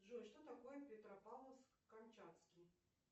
джой что такое петропавловск камчатский